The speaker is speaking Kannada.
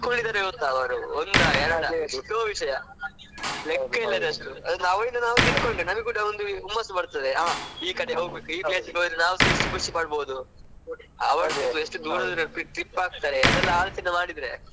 ಎಷ್ಟ್ ತಿಳ್ಕೋಳ್ಳಿದ್ದಾರೆ ಗೊತ್ತಾ ಒಂದಾ ಎರಾಡಾ ಎಷ್ಟೋ ವಿಷ್ಯ ಲೆಕ್ಕವಿಲ್ಲದಷ್ಟು. ಅವರಿಂದ ನಾವ್ ತಿಳ್ಕೊಂಡ್ರೆ ನಮ್ಗ್ ಕೂಡ ಹುಮ್ಮಸ್ಸು ಬರ್ತದೆ ಹಾ ಈ ಕಡೆ ಹೋಗ್ಬೇಕು ಈ place ಗೆ ಹೋದ್ರೆ ನಾವ್ ಕೂಡ ಯೆಸ್ಟ್ ಖುಷಿ ಪಡಬಹದು. ಅವ್ರೆಲ್ಲ ಎಷ್ಟ್ ದೂರ trip ಹಾಕ್ತಾರೆ ಅದನ್ನೆಲ್ಲ ಆಲೋಚನೆ ಮಾಡಿದ್ರೆ.